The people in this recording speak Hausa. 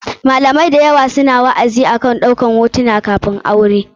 Malamai da yawa su na wa'azi da yawa akan ɗaukan hotunan kafin aure.